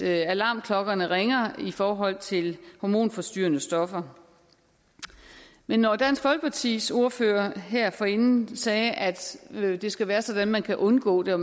alarmklokkerne ringer i forhold til hormonforstyrrende stoffer men når dansk folkepartis ordfører her forinden sagde at det skal være sådan at man kan undgå det og